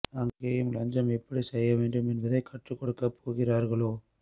அங்கேயும் லஞ்சம் எப்படி செய்ய வேண்டும் என்பதை கற்றுக் கொடுக்க போகிறார்களோ